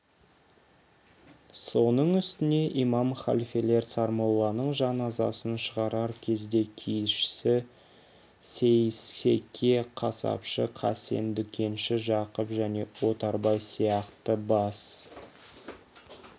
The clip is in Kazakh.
соның үстіне имам халфелер сармолланың жаназасын шығарар кезде киізші сейсеке қасапшы қасен дүкенші жақып және отарбай сияқты бас